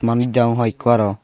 manuj degong hoi ekku aroh.